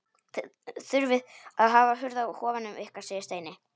Þið þurfið að hafa hurð á kofanum ykkar segir Steini.